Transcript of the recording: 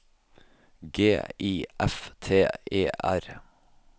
G I F T E R